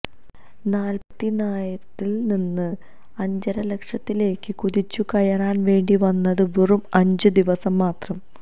നാൽപ്പതിനായിരത്തിൽ നിന്ന് അരലക്ഷത്തിലേക്ക് കുതിച്ചുകയറാൻ വേണ്ടി വന്നത് വെറും അഞ്ച് ദിവസം മാത്രം